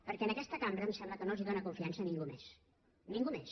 perquè en aquest cambra em sembla que no els dóna confiança ningú més ningú més